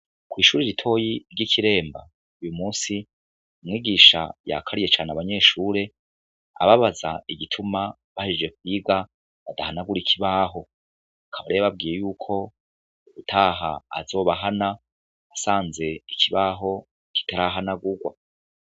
Kw'ishure ritoyi ry'ikiremba uyumusi umwigisha yakariye cane abanyeshuri ababaza igituma bahejeje kwiga badahanagura ikibaho akaba rero yababwiye yuko ubutaha azobahana asanze ikibaho kitarahanagugwa